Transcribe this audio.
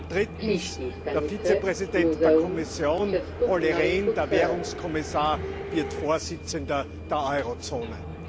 Und drittens Der Vizepräsident der Kommission, Olli Rehn, der auch Währungskommissar ist, wird Vorsitzender der Eurozone.